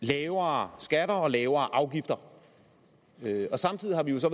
lavere skatter og lavere afgifter samtidig har vi jo så